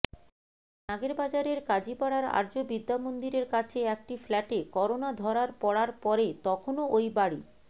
নাগেরবাজারের কাজিপাড়ার আর্য বিদ্যামন্দিরের কাছে একটি ফ্ল্যাটে করোনা ধরার পড়ার পরে তখনও ওই বাড়ি